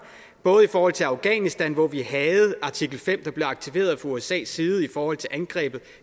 både i forhold til afghanistan hvor vi havde artikel fem der blev aktiveret fra usas side i forhold til angrebet